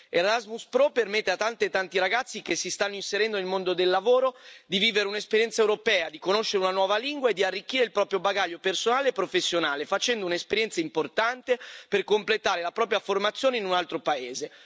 Erasmus Pro permette a tante ragazze e tanti ragazzi, che si stanno inserendo nel mondo del lavoro, di vivere un'esperienza europea, di conoscere una nuova lingua e di arricchire il proprio bagaglio personale e professionale, facendo un'esperienza importante per completare la propria formazione in un altro paese.